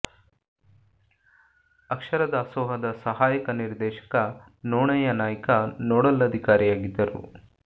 ಅಕ್ಷರ ದಾಸೋಹದ ಸಹಾಯಕ ನಿರ್ದೇಶಕ ನೋಣಯ್ಯ ನಾಯ್ಕ ನೋಡಲ್ ಅಧಿಕಾರಿಯಾಗಿದ್ದರು